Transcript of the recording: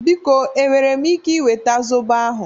Biko e nwere m ike nweta zobo ahụ?